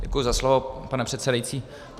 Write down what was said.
Děkuji za slovo, pane předsedající.